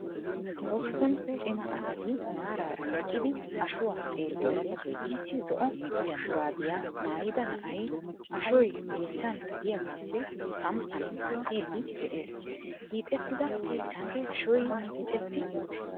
Hosppun cimma asati maaraara eqqidi ashuwa xeeliyode issi zo"o shuraabiya maayida na'ay ashoy yeechchan deiyagaappe samppan aattidi de'ees. Hixxettida yechchan ashoy micceti uttiis.